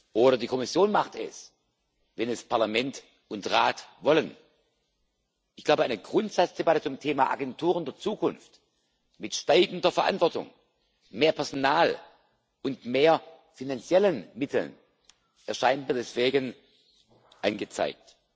Oder die Kommission macht es, wenn Parlament und Rat das wollen. Eine Grundsatzdebatte zum Thema Agenturen der Zukunft mit steigender Verantwortung, mehr Personal und mehr finanziellen Mitteln erscheint mir deswegen angezeigt.